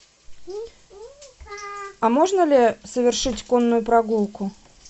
а можно ли совершить конную прогулку